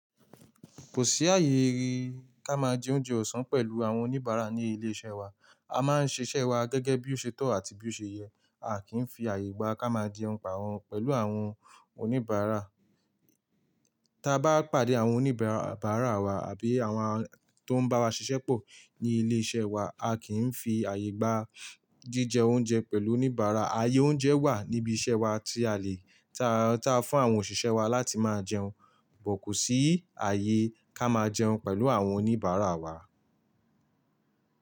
Kò sí àyè, ká má jẹ oúnjẹ ọ̀sán pẹ̀lú àwọn oníbàárà ní ilé iṣẹ́ wa. A máa ń ṣiṣẹ́ wa gẹ́gẹ́ bí ó ṣe tọ̀ àti bí ó ṣe yẹ. A kì í fi àyè gbà ká máa jẹun pa wọ́n, pẹ̀lú àwọn oníbàárà. Ta bá pàdé àwọn oníbàárà wa àbí àwọn tó ń bá wa ṣiṣẹ́ pọ̀ ní ilé iṣẹ́ wa, a kì í fi àyè gbà jí jẹ oúnjẹ pẹ̀lú oníbàárà. Àyè oúnjẹ wà níbi iṣẹ́ wa tí a lè, ta fún àwọn òṣìṣẹ́ wa láti máa jẹun, bọ̀ kò sí àyè ká máa jẹun pẹ̀lú àwọn oníbàárà wa.